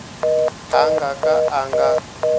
a nga ka a nga